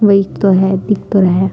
वो एक तो है दिख तो रहा है।